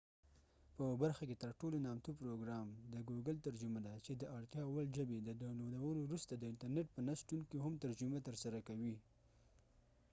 په برخه کې تر ټولو نامتو پروګرام د ګوګل ترجمه ده چې د اړتیا وړ ژبې د داونلودولو وروسته د انترنیت په نه شتون کې هم ترجمه ترسره کوي